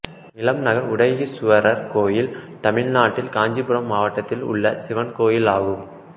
இளநகர் உடையீசுவரர் கோயில் தமிழ்நாட்டில் காஞ்சீபுரம் மாவட்டத்தில் உள்ள சிவன் கோயிலாகும்